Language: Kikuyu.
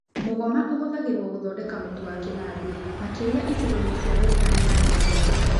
Mũgoma ũhũthagĩrũo gũthondeka mũtu wa kĩnandũ, makĩria icigo-inĩ cia Western na Nyanza.